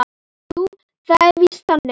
Jú, það var víst þannig.